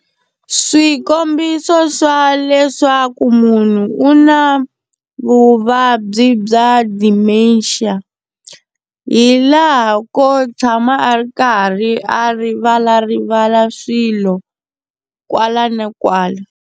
Swikombiso swa leswaku munhu u na vuvabyi bya Dementia, hi laha ko tshama a ri karhi a rivalarivala swilo kwala na kwala.